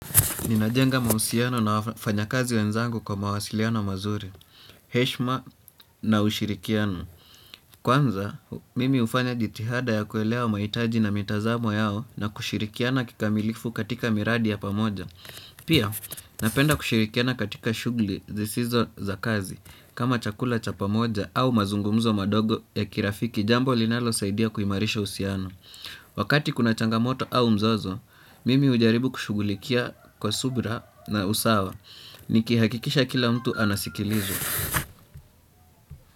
Ninajenga mahusiano na wafanya kazi wenzangu kwa mawasiliano mazuri, heshima na ushirikiano. Kwanza, mimi ufanya jitihada ya kuelewa wa mahitaji na mitazamo yao na kushirikiana kikamilifu katika miradi ya pamoja. Pia, napenda kushirikiana katika shugli zisizo za kazi kama chakula cha pamoja au mazungumzo madogo ya kirafiki jambo linalo saidia kuimarisha uhusiano. Wakati kuna changamoto au mzozo, mimi ujaribu kushugulikia kwa subra na usawa nikihakikisha kila mtu anasikilizwa.